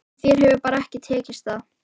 En þér hefur bara ekki tekist það.